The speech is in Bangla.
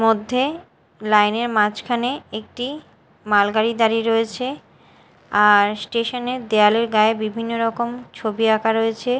মধ্যে লাইনের -এর মাঝখানে একটি মালগাড়ি দাঁড়িয়ে রয়েছে আর স্টেশনের -এর দেয়ালের গায়ে বিভিন্ন রকম ছবি আঁকা রয়েছে।